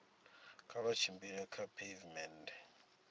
kha vha tshimbile kha pheivimennde